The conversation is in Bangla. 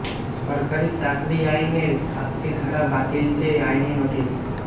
সরকারি চাকরি আইনের সাতটি ধারা বাতিল চেয়ে আইনি নোটিশ